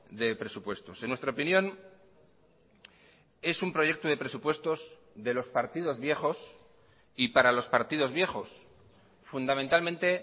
de presupuestos en nuestra opinión es un proyecto de presupuestos de los partidos viejos y para los partidos viejos fundamentalmente